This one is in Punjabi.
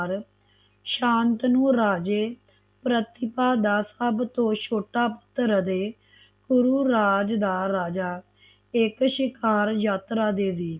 ਸ਼ਾਂਤਨੂੰ ਰਾਜਾ ਪ੍ਰਤਿਭਾ ਦਾ ਸਬਤੋ ਛੋਟਾ ਪੁੱਤਰ ਅਤੇ ਪੂਰੀ ਰਾਜ ਦਾ ਰਾਜਾ ਇਕ ਸ਼ਿਕਾਰ ਯਾਤਰਾ ਦੇਦੀ